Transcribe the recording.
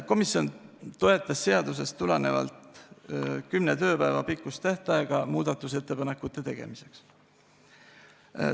Komisjon toetas seadusest tulenevat kümne tööpäeva pikkust tähtaega muudatusettepanekute tegemiseks.